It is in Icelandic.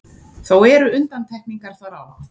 Þó eru undantekningar þar á.